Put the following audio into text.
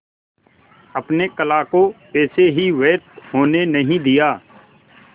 अपने कला को ऐसे ही व्यर्थ होने नहीं दिया